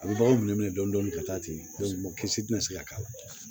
A bɛ baganw minɛ dɔɔnin ka taa ten mɔgɔ si tɛ se ka k'a la